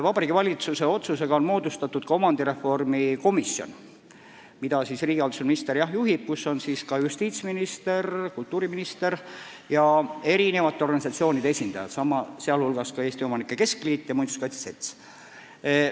Vabariigi Valitsuse otsusega on moodustatud omandireformi komisjon, mida juhib riigihalduse minister ja kus on ka justiitsminister, kultuuriminister ja eri organisatsioonide esindajad, sh Eesti Omanike Keskliit ja muinsuskaitse selts.